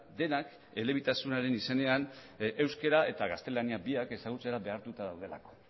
denak elebitasunaren izenean euskera eta gaztelaniak biak ezagutzera behartuta daudelako